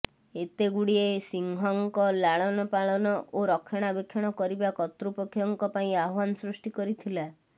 ଏତେଗୁଡ଼ିଏ ସିଂହଙ୍କ ଲାଳନପାଳନ ଓ ରକ୍ଷଣାବେକ୍ଷଣ କରିବା କର୍ତ୍ତୃପକ୍ଷଙ୍କ ପାଇଁ ଆହ୍ବାନ ସୃଷ୍ଟି କରିଥିଲା